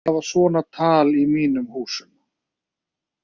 Ég vil ekki hafa svona tal í mínum húsum!